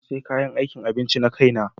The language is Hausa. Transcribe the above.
Na sayi kayan aikin abinci na kaina.